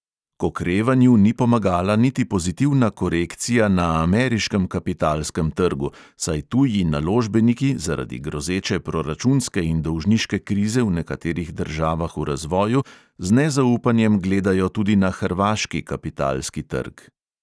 K okrevanju ni pomagala niti pozitivna korekcija na ameriškem kapitalskem trgu, saj tuji naložbeniki zaradi grozeče proračunske in dolžniške krize v nekaterih državah v razvoju, z nezaupanjem gledajo tudi na hrvaški kapitalski trg.